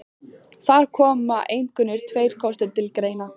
Þar koma einkum tveir kostir til greina.